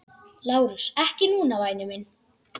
LÁRUS: Ekki núna, væni minn.